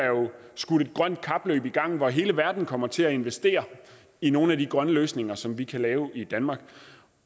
skudt et grønt kapløb i gang hvor hele verden kommer til at investere i nogle af de grønne løsninger som vi kan lave i danmark